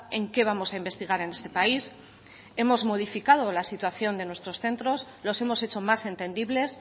en qué vamos a investigar en este país hemos modificado la situación de nuestros centros los hemos hecho más entendibles